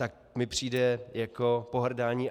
Tak mi přijde jako pohrdání.